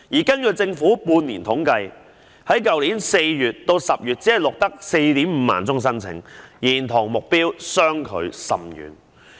根據政府的半年統計，去年4月至10月只錄得 45,000 宗申請，與目標相距甚遠。